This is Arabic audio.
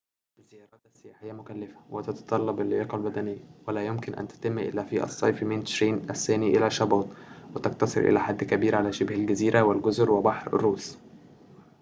الزيارات السياحية مكلفة وتتطلب اللياقة البدنية ولا يمكن أن تتم إلا في الصيف من تشرين الثاني إلى شباط وتقتصر إلى حد كبير على شبه الجزيرة والجزر وبحر روس